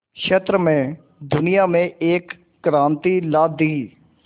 क्षेत्र में दुनिया में एक क्रांति ला दी